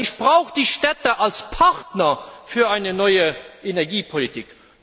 Denn ich brauche die Städte als Partner für eine neue Energiepolitik.